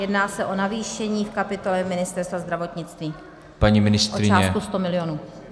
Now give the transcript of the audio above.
Jedná se o navýšení v kapitole Ministerstva zdravotnictví o částku 100 milionů.